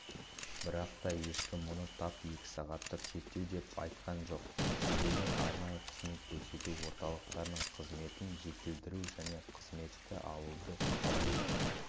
бірақ-та ешкім мұны тап екі сағаттық шектеу деп айтқан жоқ дегенмен арнайы қызмет көрсету орталықтарының қызметін жетілдіру және қызметті алуды қалай